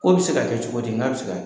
Ko bɛ se ka kɛ cogo di n k'a bɛ se ka kɛ.